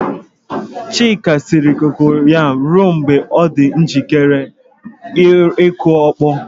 Chika siere kokoyam ruo mgbe ọ dị njikere ịkụ ọkpọ.